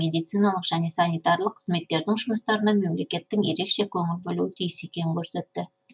медициналық және санитарлық қызметтердің жұмыстарына мемлекеттің ерекше көңіл бөлуі тиіс екенін көрсетті